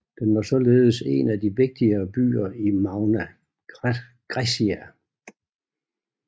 Den var således en af de vigtigere byer i Magna Graecia